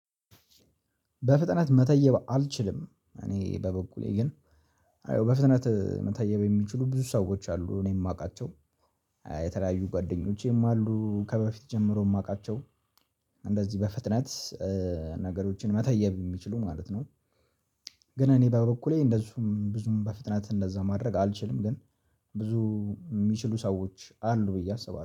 በፍጥነት መተየብ አልችልም። እኔ በበኩሌ ግን አየው በፍጥነት መተየብ የሚችሉ ብዙ ሰዎች አሉ። እኔ የማውቃቸው የተለያዩ ጓደኞቼም አሉ። ከበፊት ጀምሮ የማውቃቸው እንደዚህ በፍጥነት ነገሮችን መተየብ የሚችሉ ማለት ነው። ግን እኔ በበኩሌ እንደዚሁም ብዙም በፍጥነት እንደዛ ማድረግ አልችልም ግን ብዙ የሚችሉ ሰዎች አሉ ብዬ አስባለሁ